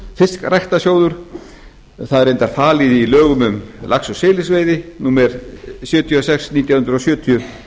og það er reyndar falið í lögum um lax og silungsveiði númer sjötíu og sex nítján hundruð sjötíu